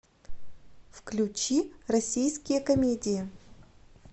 включи российские комедии